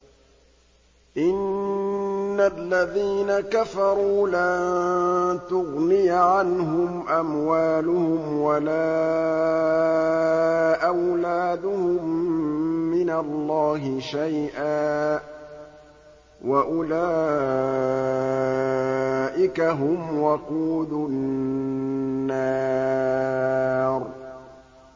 إِنَّ الَّذِينَ كَفَرُوا لَن تُغْنِيَ عَنْهُمْ أَمْوَالُهُمْ وَلَا أَوْلَادُهُم مِّنَ اللَّهِ شَيْئًا ۖ وَأُولَٰئِكَ هُمْ وَقُودُ النَّارِ